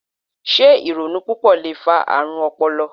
Se ironu pupọ le fa aarun ọpọlọ?